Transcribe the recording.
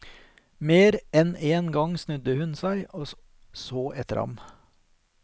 Mer enn en gang snudde hun seg og så etter ham.